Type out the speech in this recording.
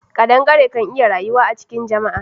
Kadangare kan iya rayuwa a cikin jama'a.